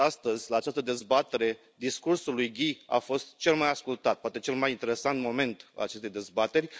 Ați văzut astăzi, la această dezbatere, discursul lui Guy a fost cel mai ascultat poate cel mai interesant moment al acestei dezbateri.